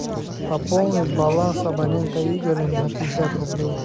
пополнить баланс абонента игоря на пятьдесят рублей